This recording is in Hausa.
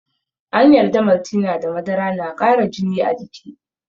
An yarda Maltina da madara na kara jini a jiki.